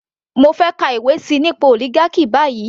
Mo fẹ́ kà ìwé síi nípa oligarchy báyìí.